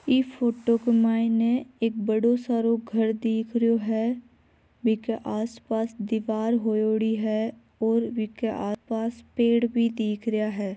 इ फोटो के मायने एक बड़ो सारो घर दिख रहियो है इके आस पास दीवार होयोड़ी है और इके आस पास पेड़ भी दिख रहिया है।